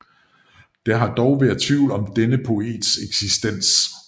Der har dog været tvivl om denne poets eksistens